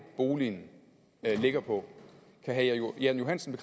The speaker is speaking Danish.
boligen ligger på kan herre jan johansen